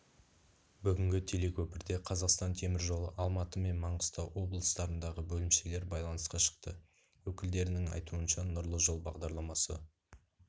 бүгінгі телекөпірде қазақстан теміржолы алматы мен маңғыстау облыстарындағы бөлімшелері байланысқа шықты өкілдерінің айтуынша нұрлы жол бағдарламасы